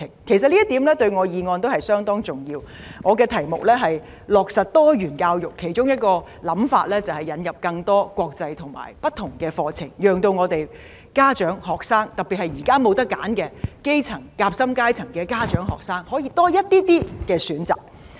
其實這一點對我的議案相當重要，我的題目是"落實多元教育"，其中一個想法就是引入更多國際和不同課程，讓家長、學生，特別是現在沒有選擇的基層、夾心階層的家長和學生可以多一些選擇。